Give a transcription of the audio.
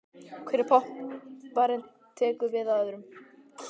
Hver popparinn tekur við af öðrum.